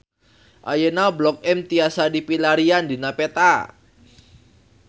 Ayeuna Blok M tiasa dipilarian dina peta